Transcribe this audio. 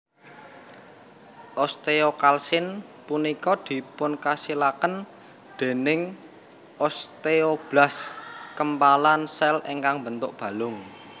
Osteokalsin punika dipunkasilaken dèning osteoblas kempalan sèl ingkang mbentuk balung